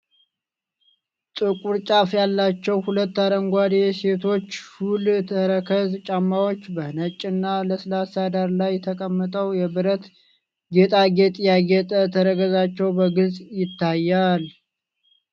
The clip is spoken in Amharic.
ጥቁር ጫፍ ያላቸው ሁለት አረንጓዴ የሴቶች ሹል ተረከዝ ጫማዎች፣ በነጭ እና ለስላሳ ዳራ ላይ ተቀምጠው የብረት ጌጣጌጥ ያጌጠ ተረከዛቸው በግልጽ ይታያል።